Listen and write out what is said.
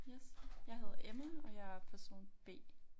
Yes jeg hedder Emma og jeg er person B